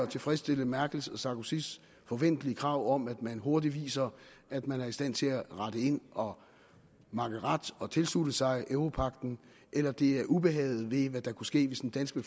tilfredsstille merkel og sarkozys forventelige krav om at man hurtigt viser at man er i stand til at rette ind og makke ret og tilslutte sig europagten eller det er ubehaget ved hvad der kunne ske hvis den danske